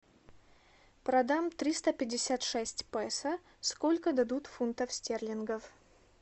продам триста пятьдесят шесть песо сколько дадут фунтов стерлингов